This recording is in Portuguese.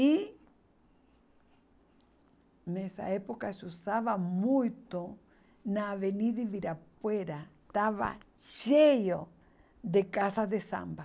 E nessa época se usava muito na Avenida Ibirapuera, estava cheio de casas de samba.